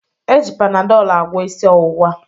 E ji Panadọl agwọ isi ọwụwa.